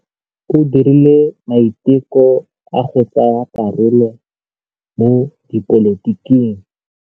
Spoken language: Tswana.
O dirile maitekô a go tsaya karolo mo dipolotiking.